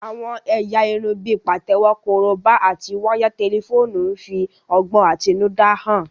Àwọn ẹ̀yà irun bíi pàtẹ́wọ́, korobá, àti wáyà tẹlifóònù ń fi ọgbọ́n àtinúdá hàn